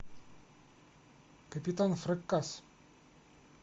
капитан фракасс